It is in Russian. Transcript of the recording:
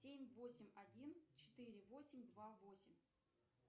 семь восемь один четыре восемь два восемь